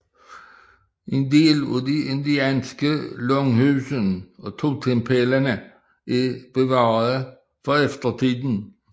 En del af de indianske langhuse og totempæle er bevaret for eftertiden